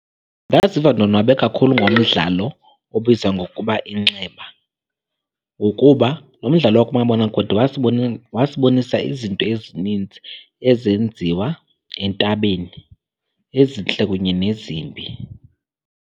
Ndaziva ndonwabe kakhulu ngomdlalo obizwa ngokuba Inxeba, ngokuba lo mdlalo wakumabonakude wasibonisa izinto ezinintsi ezenziwa entabeni ezintle kunye nezimbi.